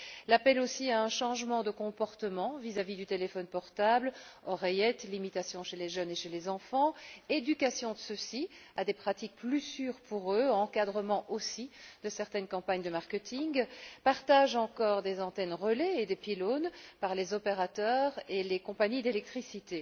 L'appel également à un changement de comportement vis à vis du téléphone portable oreillette, limitation chez les jeunes et chez les enfants, éducation de ceux ci à des pratiques plus sûres pour eux, encadrement aussi de certaines campagnes de marketing, partage encore des antennes relais et des pylônes par les opérateurs et les compagnies d'électricité.